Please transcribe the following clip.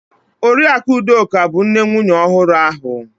Oriakụ Udoka bu nne nwunye ohuru ahu.